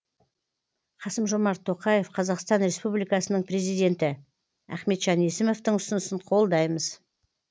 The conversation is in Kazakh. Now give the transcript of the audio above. қасым жомарт тоқаев қазақстан республикасының президенті ахметжан есімовтің ұсынысын қолдаймыз